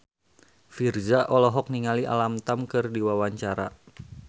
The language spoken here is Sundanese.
Virzha olohok ningali Alam Tam keur diwawancara